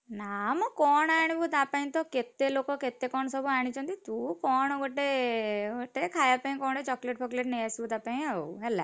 ନା ମ କଣ ଆଣିବୁ ତା ପାଇଁ ତ କେତେ ଲୋକ କେତେ କଣ ସବୁ ଆଣିଛନ୍ତି! ତୁ କଣ ଗୋଟେ ଗୋଟେ ଖାୟା ପାଇଁ କଣ ଗୋଟେ chocolate ଫକୋଲେଟ ନେଇ ଆସିବୁ ତା ପାଇଁ ଆଉ ହେଲା!